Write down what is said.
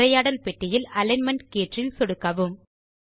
உரையாடல் பெட்டியில் அலிக்ன்மென்ட் கீற்றில் சொடுக்கவும்